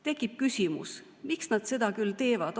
Tekib küsimus, miks nad seda teevad.